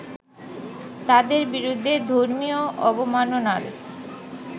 তাদের বিরুদ্ধে ধর্মীয় অবমাননার